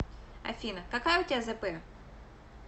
афина какая у тебя зэпэ